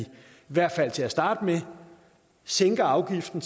hvert fald til at starte med sænker afgiften